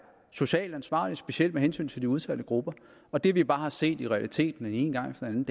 socialt ansvarlig specielt med hensyn til de udsatte grupper og det vi bare har set i realiteten den ene gang efter den